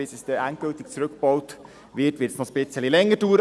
Bis es endlich zurückgebaut ist, wird es noch etwas länger dauern.